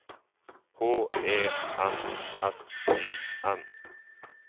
H E N S Y N